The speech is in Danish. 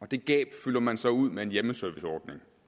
og det gab fylder man så ud med en hjemmeserviceordning